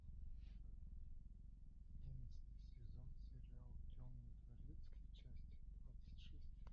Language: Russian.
одиннадцатый сезон сериал темный дворецкий часть двадцать шесть